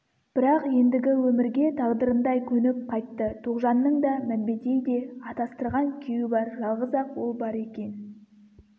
бірақ ендігі өмірге тағдырындай көніп қайтты тоғжанның да мәмбетейде атастырған күйеуі бар жалғыз-ақ ол бар екен